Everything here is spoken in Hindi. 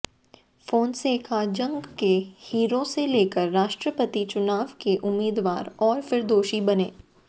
फोंसेका जंग के हीरो से लेकर राष्ट्रपति चुनाव के उम्मीदवार और फिर दोषी बने